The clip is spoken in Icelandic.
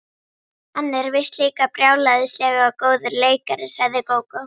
Hann er víst líka brjálæðislega góður leikari, sagði Gógó.